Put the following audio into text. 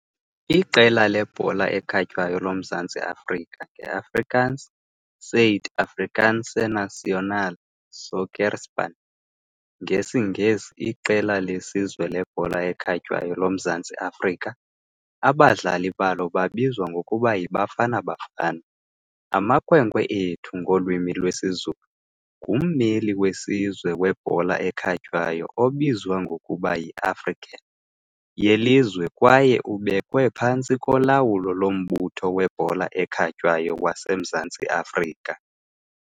Iqela lebhola ekhatywayo loMzantsi Afrika, ngeAfrikaans "Suid-Afrikaanse nasionale sokkerspan", ngesiNgesi "Iqela lesizwe lebhola ekhatywayo loMzantsi Afrika", abadlali balo babizwa ngokuba "yiBafana Bafana", "amakhwenkwe ethu" ngolwimi lwesiZulu, ngummeli wesizwe webhola ekhatywayo obizwa ngokuba yi -African yelizwe kwaye ibekwe phantsi kolawulo loMbutho weBhola eKhatywayo waseMzantsi Afrika.